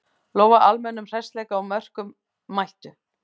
Lofa almennum hressleika og mörkum, mættu!